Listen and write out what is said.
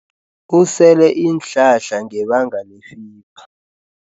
Usele iinhlahla ngebanga lefiva.